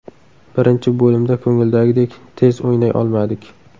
Birinchi bo‘limda ko‘ngildagidek tez o‘ynay olmadik.